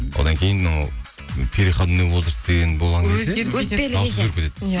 одан кейін ол переходной возраст деген болған кезде дауыс өзгеріп кетеді иә